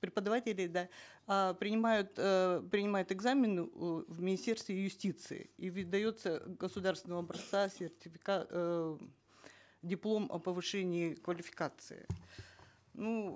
преподавателей да э принимают э принимают экзамены ы в министерстве юстиции и выдается государственного образца эээ диплом о повышении квалификации ну